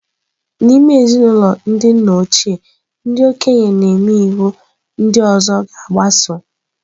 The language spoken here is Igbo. N'ime ezinụlọ ndị nna ochie, ndị okenye na-eme iwu ndị ọzọ ga-agbaso.